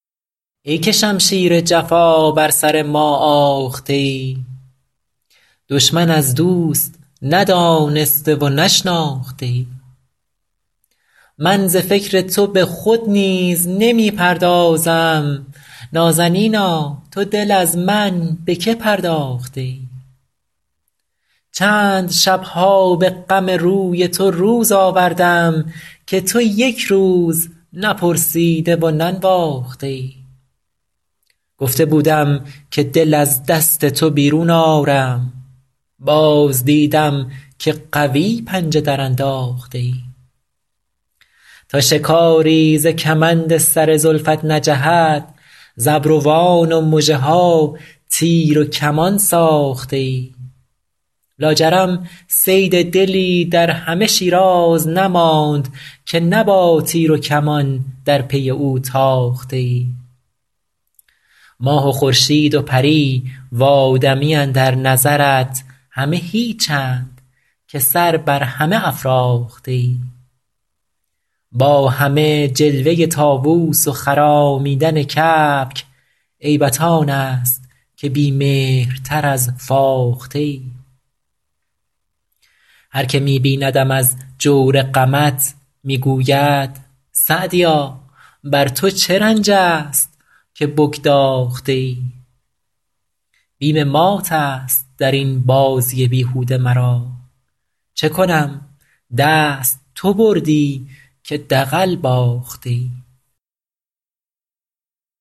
ای که شمشیر جفا بر سر ما آخته ای دشمن از دوست ندانسته و نشناخته ای من ز فکر تو به خود نیز نمی پردازم نازنینا تو دل از من به که پرداخته ای چند شب ها به غم روی تو روز آوردم که تو یک روز نپرسیده و ننواخته ای گفته بودم که دل از دست تو بیرون آرم باز دیدم که قوی پنجه درانداخته ای تا شکاری ز کمند سر زلفت نجهد ز ابروان و مژه ها تیر و کمان ساخته ای لاجرم صید دلی در همه شیراز نماند که نه با تیر و کمان در پی او تاخته ای ماه و خورشید و پری و آدمی اندر نظرت همه هیچند که سر بر همه افراخته ای با همه جلوه طاووس و خرامیدن کبک عیبت آن است که بی مهرتر از فاخته ای هر که می بیندم از جور غمت می گوید سعدیا بر تو چه رنج است که بگداخته ای بیم مات است در این بازی بیهوده مرا چه کنم دست تو بردی که دغل باخته ای